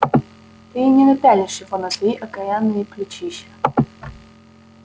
ты и не напялишь его на свои окаянные плечища